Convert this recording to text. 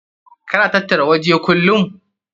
Ka na tattara waje kullum?